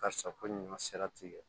Ka sa ko ɲuma sera tigɛ